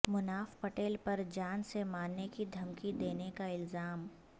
مناف پٹیل پر جان سے مارنے کی دھمکی دینے کا الزام